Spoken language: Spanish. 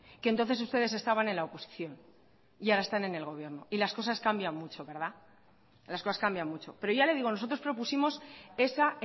que entonces ustedes estaban en la oposición y ahora están en el gobierno y las cosas cambian mucho las cosas cambian mucho pero ya le digo nosotros propusimos esa